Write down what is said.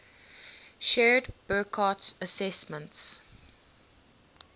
shared burckhardt's assessment